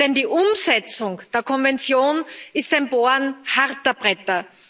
Denn die Umsetzung der Konvention ist ein Bohren harter Bretter.